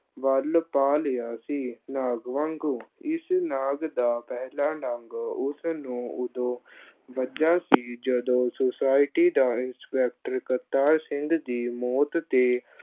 ਵਲ ਪਾ ਲਿਆ ਸੀ ਨਾਗ ਵਾਂਗੂੰ, ਇਸ ਨਾਗ ਦਾ ਪਹਿਲਾ ਡੰਗ ਉਸ ਨੂੰ ਉਦੋਂ ਵੱਜਾ ਸੀ, ਜਦੋਂ society ਦਾ ਇਨਸਪੈੱਕਟਰ ਕਰਤਾਰ ਸਿੰਘ ਦੀ ਮੌਤ ਤੇ